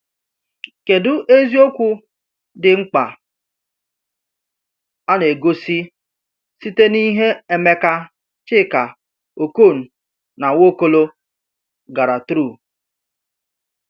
Kedu eziokwu dị mkpa a na-egosi site n’ihe Emeka, Chika, Okon, na Nwaokolo gara through?